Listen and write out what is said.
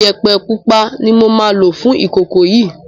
Iyẹ̀pẹ̀ pupa ni moma lò fún ìkòkò yìí